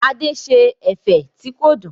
Adé ṣe ẹ̀fẹ̀ tí kò dùn.